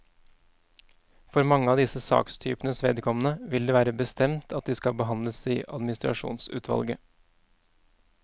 For mange av disse sakstypenes vedkommende vil det være bestemt at de skal behandles i administrasjonsutvalget.